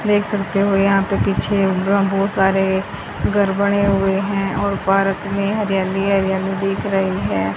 देख सकते हो यहां पर के पीछे बहुत सारे घर बने हुए हुई हैं और पारक में हरियाली ही हरियाली दिख रही है।